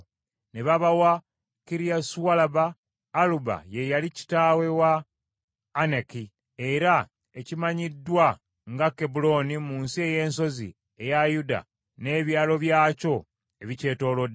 Ne babawa Kiriasualuba (Aluba ye yali kitaawe wa Anaki) era ekimanyiddwa nga Kebbulooni mu nsi ey’ensozi eya Yuda n’ebyalo byakyo ebikyetoolodde.